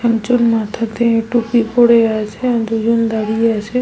একজন মাথাতে টুপি পরে আছে আর দুজন দাঁড়িয়ে আছে।